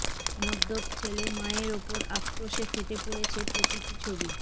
মদ্যপ ছেলে মায়ের উপর আক্রোশে ফেটে পড়েছে প্রতীকী ছবি